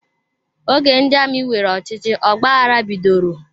Oge ndị amị weere ọchịchị, ọgbaghara bidoro